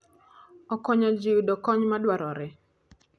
Okonyo ji yudo kony madwarore.